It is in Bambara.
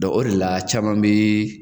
o de la caman bi